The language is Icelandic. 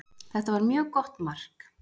Þetta var mjög gott mark.